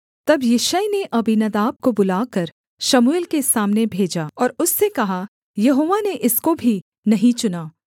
तब यिशै ने अबीनादाब को बुलाकर शमूएल के सामने भेजा और उससे कहा यहोवा ने इसको भी नहीं चुना